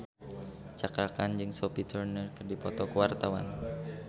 Cakra Khan jeung Sophie Turner keur dipoto ku wartawan